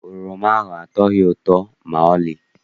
Oroma ahụ atọghị ụtọ maọlị.